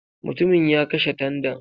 MUtumin ya kashe tandan.